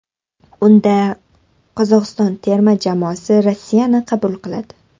Unda Qozog‘iston terma jamoasi Rossiyani qabul qiladi.